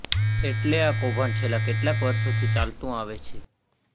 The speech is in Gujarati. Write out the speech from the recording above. એટલે આ કૌભાંડ છેલ્લા કેટલાક વર્ષોથી ચાલતું આવે છે